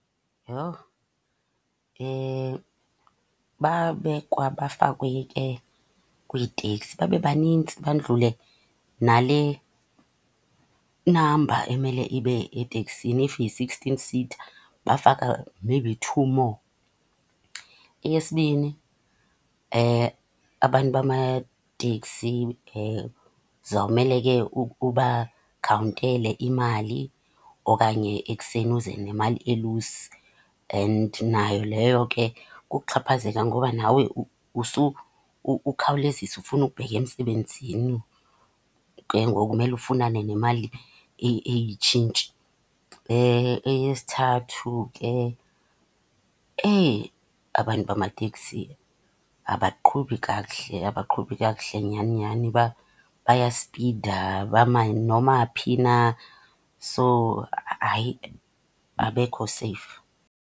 Yho, babekwa bafakwe ke kwiiteksi babe banintsi bandlule nale namba emele ibe eteksini. If yi-sixteen seater bafaka maybe two more. Eyesibini, abantu bamateksi uzawumele ubakhawuntele imali, okanye ekuseni uze nemali elusi. And nayo leyo ke kukuxhaphazeka, ngoba nawe ukhawulezisa ufuna ukubheka emsebenzini, ke ngoku umele ufunane nemali eyitshintshi. Eyesithathu, ke abantu bamateksi abaqhubi kakuhle, abaqhubi kakuhle nyhani nyhani, bayaspida, bama noma phi na. So, hayi abekho seyifu.